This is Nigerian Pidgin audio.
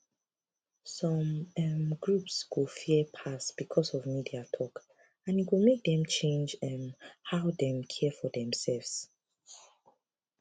some um groups go fear pass because of media talk and e go make dem change um how dem care for themselves